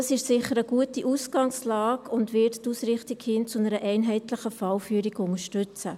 Das ist sicher eine gute Ausgangslage und wird die Ausrichtung hin zu einer einheitlichen Fallführung unterstützen.